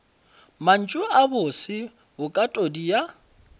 mantšu a bose bokatodi ya